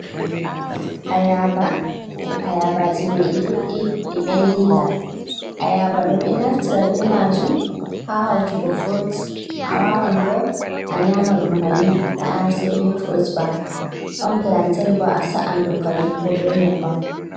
Ayaba, ayabaaji mai ɗi ɗuɗɗi ɗi ɓendiinga. Ayaba ɓe ɗo naftira bee maajum ha hawtugo furut. A waawan bo a nyaama ɗum bannin naa sai bee furut ba. Ɗon pilanten bo, a sa’an ɗum kanjum bo, bee nyebbam.